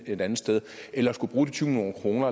et andet sted eller at skulle bruge de tyve million kroner